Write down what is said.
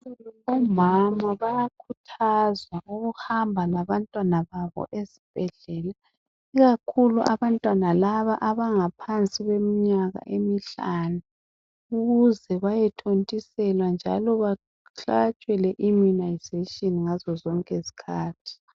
Umama bayakhuthazwa ukuhamba labantwana babo esibhedlela ikakhulu abantwana laba abangaphansi kweminyaka emihlanu ukuthi bayo thontiselwa njalo bahlatshwe le imunizatshini ngazo zonke izikhathi